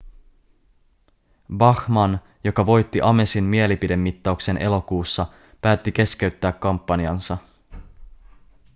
bachmann joka voitti amesin mielipidemittauksen elokuussa päätti keskeyttää kampanjansa